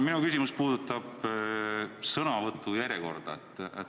Minu küsimus puudutab sõnavõtu järjekorda.